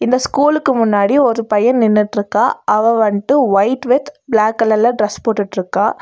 இந்த ஸ்கூலுக்கு முன்னாடி ஒரு பைய நின்னுட்டு இருக்கா அவ வன்ட்டு ஒயிட் வித் பிளாக் கலர்ல டிரஸ் போட்டுட்டிருக்கா.